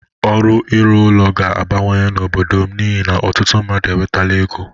Ọrụ ịrụ ụlọ ga-abawanye n'obodo m n'ihi na ọtụtụ mmadụ enwetala ego.